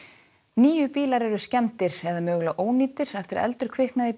níu bílar eru skemmdir eða mögulega ónýtir eftir að eldur kviknaði í